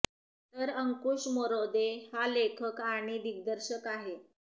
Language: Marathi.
तर अंकुश मरोदे हा लेखक आणि दिग्दर्शक आहे